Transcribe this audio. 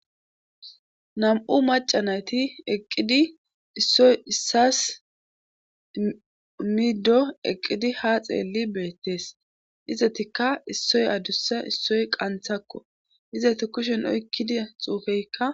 Nam'u maca nayti eqqidi issoy issas middo eqqidi ha xeelli beettees dizetikka issoy adussa issoy qanthakko izeti kushen oykkida xuufeykka.